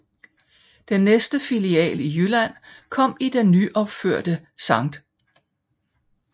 Den næste filial i Jylland kom i den nyopførte Sct